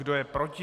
Kdo je proti?